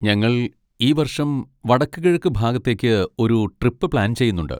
ഞങ്ങൾ ഈ വർഷം വടക്കുകിഴക്ക് ഭാഗത്തേക്ക് ഒരു ട്രിപ്പ് പ്ലാൻ ചെയ്യുന്നുണ്ട്.